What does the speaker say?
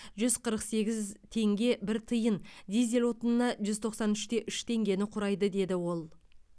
жүз қырық сегіз теңге бір тиын дизель отынына жүз тоқсан үш те үш теңгені құрайды деді ол